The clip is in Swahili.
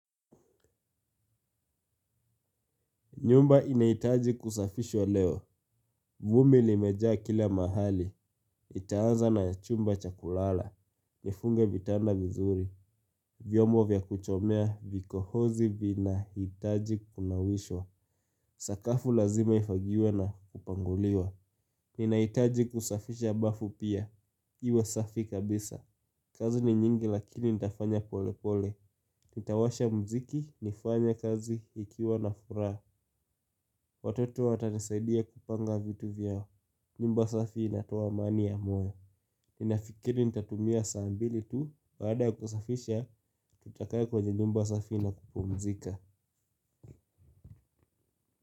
Nyumba inahitaji kusafishwa leo. Vumbi limejaa kila mahali. Nitaanza na chumba cha kulala. Nifunge vitanda vizuri. Vyombo vya kutemea vikohozi vinahitaji kunawishwa. Sakafu lazima ifagiwe na kupanguliwa. Ninahitaji kusafisha bafu pia. Iwe safi kabisa. Kazi ni nyingi lakini nitafanya pole pole. Nitawasha muziki, nifanye kazi nikiwa na furaha. Watotob watanisaidia kupanga vitu vyao. Nyumba safi inatoa amani ya moyo. Ninafikiri nitatumia saa mbili tu baada kusafisha. Tutakaa kwenye nyumba safi na kupumzika.